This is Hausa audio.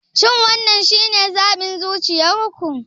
Shin wannan shine zaɓin zuciyar ku?